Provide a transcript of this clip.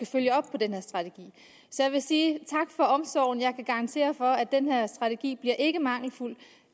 følge op på den her strategi så jeg vil sige tak for omsorgen jeg kan garantere for at den her strategi ikke bliver mangelfuld